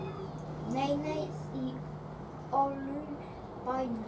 Nei, nei, í öllum bænum.